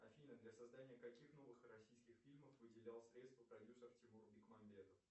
афина для создания каких новых российских фильмов выделял средства продюсер тимур бекмамбетов